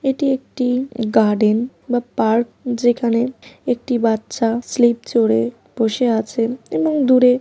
এটি একটি গার্ডেন বা পার্ক যেখানে একটি বাচ্চা স্লিপ চড়ে বসে আছেন এবং দূরে--